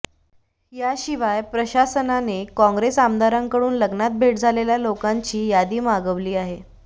याशिवाय प्रशासनाने काँग्रेस आमदारांकडून लग्नात भेट झालेल्या लोकांची यादी मागवली आहे